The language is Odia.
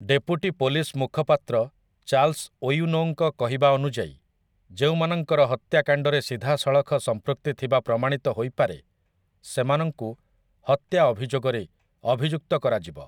ଡେପୁଟି ପୋଲିସ ମୁଖପାତ୍ର ଚାର୍ଲ୍ସ ଓୱିନୋଙ୍କ କହିବା ଅନୁଯାୟୀ, ଯେଉଁମାନଙ୍କର ହତ୍ୟାକାଣ୍ଡରେ ସିଧାସଳଖ ସମ୍ପୃକ୍ତି ଥିବା ପ୍ରମାଣିତ ହୋଇପାରେ ସେମାନଙ୍କୁ ହତ୍ୟା ଅଭିଯୋଗରେ ଅଭିଯୁକ୍ତ କରାଯିବ ।